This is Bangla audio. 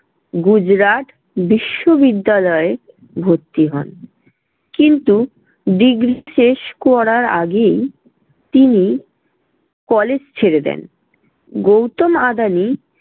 গুজরাট বিশ্ববিদ্যালয়ে ভর্তি হন। কিন্তু degree শেষ করার আগেই তিনি college ছেড়ে দেন। গৌতম আদানি